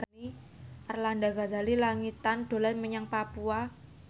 Arlanda Ghazali Langitan dolan menyang Papua